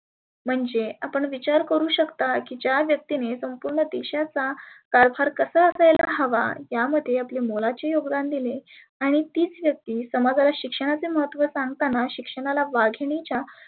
म्हणजे आपण विचार करु शकता की ज्या व्यक्तीने संपुर्ण देशाचा कारभार कसा असायला हवा या मध्ये आपले मोलाचे योगदान दिले. आणि तिच व्यक्ती समजाला शिक्षणाचे महत्व सांगताना शिक्षणाला वाघिनीच्या